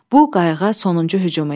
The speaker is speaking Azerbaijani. Bu qayığa sonuncu hücum idi.